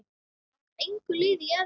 Langar engu liði í Evrópu?